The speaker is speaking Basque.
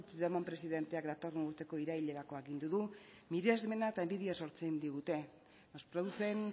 puigdemont presidenteak datorren urteko irailerako agindu du miresmena eta inbidia sortzen digute nos producen